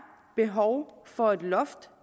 behov for et loft at